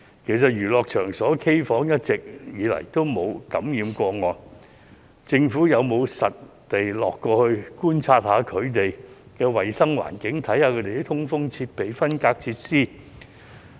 其實，娛樂場所、卡拉 OK 房一直沒有出現感染個案，政府有否實地考察衞生環境、通風設備和分隔設施？